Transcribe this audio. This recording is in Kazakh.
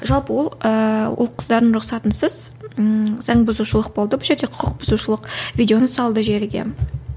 жалпы ол ыыы ол қыздардың рұқсатынсыз ммм заңбұзушылық болды бұл жерде құқықбұзушылық видеоны салды желіге